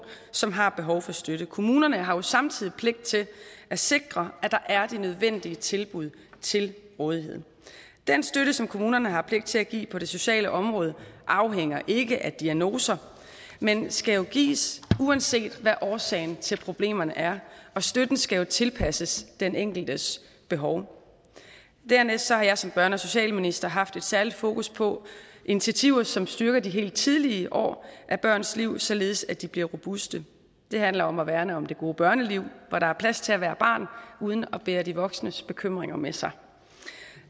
som har behov for støtte kommunerne har samtidig pligt til at sikre at der er de nødvendige tilbud til rådighed den støtte som kommunerne har pligt til at give på det sociale område afhænger ikke af diagnoser men skal jo gives uanset hvad årsagen til problemerne er og støtten skal tilpasses den enkeltes behov dernæst har jeg som børne og socialminister haft et særligt fokus på initiativer som styrker de helt tidlige år af børns liv således at de bliver robuste det handler om at værne om det gode børneliv hvor der er plads til at være barn uden at bære de voksnes bekymringer med sig